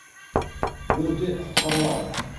бөрте құтқарылады